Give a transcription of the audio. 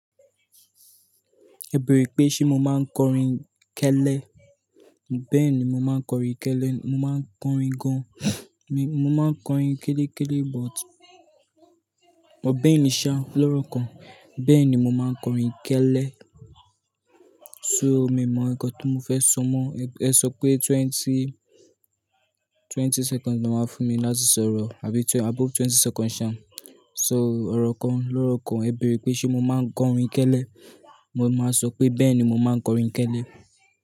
Ẹ bèrè pé ṣé mo máa ń kọrin kẹ́lẹ́? Bẹ́ẹ̀ ni mo máa ń kọrin kẹ́lẹ́. Mo máa ń kọrin gan. Mo máa ń kọrin kéleké but ọ̀bẹ nìṣa lọ́rùkọ. Bẹ́ẹ̀ ni mo máa ń kọrin kẹ́lẹ́. So, mi mọ ẹ̀kọ́ tó mo fẹ́ sọ mọ́. Ẹ sọ pé twenty, twenty seconds ni wọ́n fún mi láti sọ̀rọ̀ àbí above twenty seconds ṣa. So, ọ̀rọ̀ kan lọ́rùkọ ẹ̀ bèrè pé ṣé mo máa ń kọrin kẹ́lẹ́? Mo máa sọ pé bẹ́ẹ̀ ni mo máa ń kọrin kẹ́lẹ́